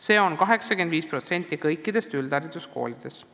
See on 85% kõikidest üldhariduskoolidest.